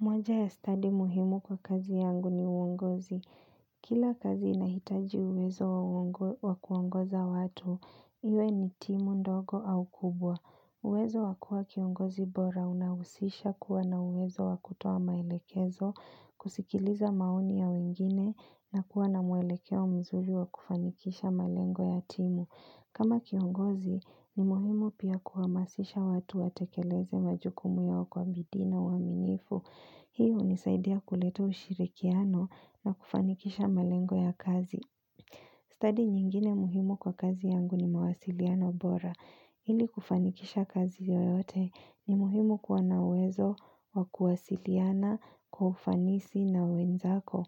Mwanja ya study muhimu kwa kazi yangu ni uongozi. Kila kazi inahitaji uwezo wa kuongoza watu. Iwe ni timu ndogo au kubwa. Uwezo wa kuwa kiongozi bora unahusisha kuwa na uwezo wa kutoa maelekezo, kusikiliza maoni ya wengine na kuwa na mwelekeo mzuri wa kufanikisha malengo ya timu. Kama kiongozi ni muhimu pia kuhamasisha watu watekeleze majukumu yao kwa bidii na uaminifu. Hii hunisaidia kuleta ushirikiano na kufanikisha malengo ya kazi. Stadi nyingine muhimu kwa kazi yangu ni mawasiliano bora. Ili kufanikisha kazi yoyote ni muhimu kuwa na uwezo wa kuwasiliana kwa ufanisi na wenzako.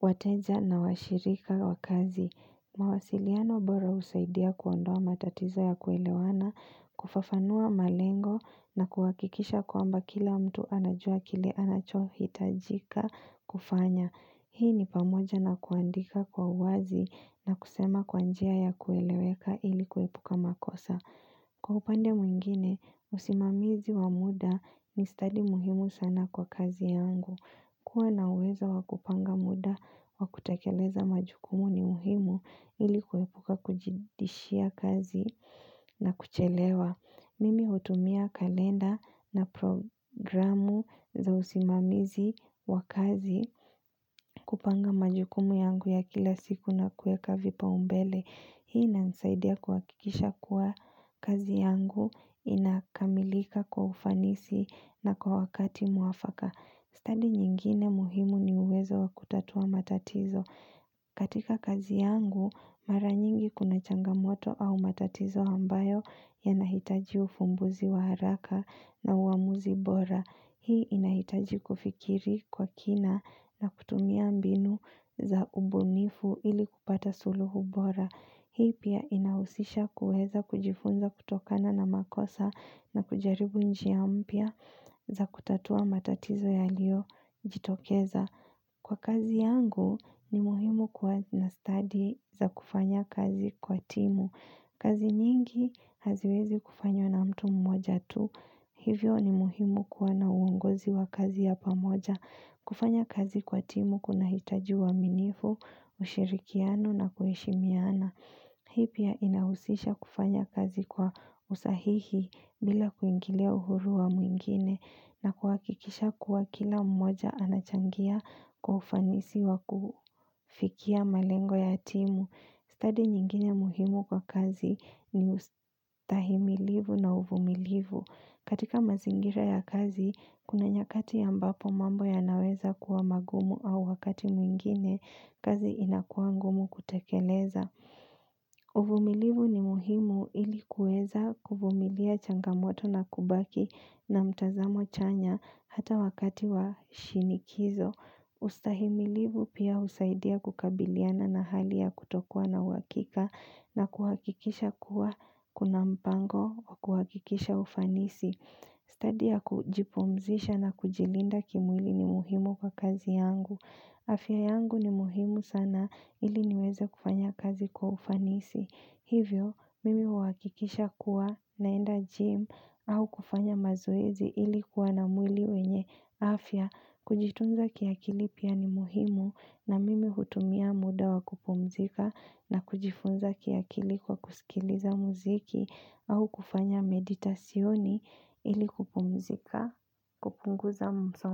Wateja na washirika wa kazi mawasiliano bora husaidia kuondoa matatizo ya kuelewana kufafanua malengo na kuhakikisha kwamba kila mtu anajua kile anachohitajika kufanya Hii ni pamoja na kuandika kwa uwazi na kusema kwa njia ya kueleweka ili kuepuka makosa Kwa upande mwingine, usimamizi wa muda ni stadi muhimu sana kwa kazi yangu kuwa na uwezo wakupanga muda wakutakeleza majukumu ni muhimu ili kuepuka kujidishia kazi na kuchelewa. Mimi hutumia kalenda na programu za usimamizi wa kazi kupanga majukumu yangu ya kila siku na kueka vipaumbele. Hii inanisaidia kuhakikisha kuwa kazi yangu inakamilika kwa ufanisi na kwa wakati mwafaka. Stadi nyingine muhimu ni uwezo wa kutatua matatizo. Katika kazi yangu, mara nyingi kuna changamoto au matatizo ambayo yanahitaji ufumbuzi wa haraka na uamuzi bora. Hii inahitaji kufikiri kwa kina na kutumia mbinu za ubunifu ili kupata suluhu bora. Hii pia inahusisha kuweza kujifunza kutokana na makosa na kujaribu njia mpya za kutatua matatizo yaliyojitokeza. Kwa kazi yangu ni muhimu kuwa na stadi za kufanya kazi kwa timu. Kazi nyingi haziwezi kufanywa na mtu mmoja tu. Hivyo ni muhimu kuwa na uongozi wa kazi ya pamoja. Kufanya kazi kwa timu kunahitaji uaminifu, ushirikiano na kuheshimiana. Hii pia inahusisha kufanya kazi kwa usahihi bila kuingilia uhuru wa mwingine na kuhakikisha kuwa kila mmoja anachangia kwa ufanisi wa kufikia malengo ya timu. Stadi nyingine muhimu kwa kazi ni ustahimilivu na uvumilivu. Katika mazingira ya kazi, kuna nyakati ambapo mambo yanaweza kuwa magumu au wakati mwingine kazi inakuwa ngumu kutekeleza. Uvumilivu ni muhimu ili kuweza kuvumilia changamoto na kubaki na mtazamo chanya hata wakati wa shinikizo. Ustahimilivu pia husaidia kukabiliana na hali ya kutokuwa na uhakika na kuhakikisha kuwa kuna mpango kuhakikisha ufanisi Stadi ya kujipumzisha na kujilinda kimwili ni muhimu kwa kazi yangu afya yangu ni muhimu sana ili niweze kufanya kazi kwa ufanisi Hivyo, mimi uhakikisha kuwa naenda gym au kufanya mazoezi ilikuwa na mwili wenye afya Kujitunza kiakili pia ni muhimu na mimi hutumia muda wa kupumzika na kujifunza kiakili kwa kusikiliza muziki au kufanya meditasyoni ili kupumzika kupunguza msongo.